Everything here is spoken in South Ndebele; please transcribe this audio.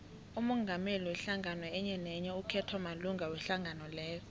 umongameli wehlangano enyenenye ukhethwa malunga wehlangano leyo